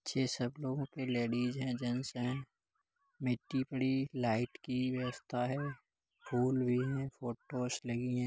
छे सब लोगो कि लेडिज है । जैंट्स है मिट्टी पड़ी लाइट की व्यवस्था है। फूल भी हैफोटोस लगी है ।